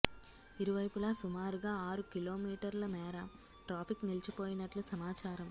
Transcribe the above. ఇరువైపులా సుమారుగా ఆరు కిలో మీటర్ల మేర ట్రాఫిక్ నిలిచిపోయినట్లు సమాచారం